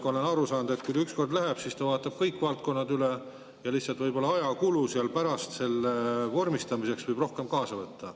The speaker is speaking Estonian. Ma olen aru saanud, et kui ta ükskord läheb, siis ta vaatab kõik valdkonnad üle, ja lihtsalt võib-olla pärast selle kõige vormistamiseks võib rohkem aega kuluda.